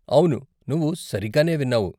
అవును, నువ్వు సరిగ్గానే విన్నావు.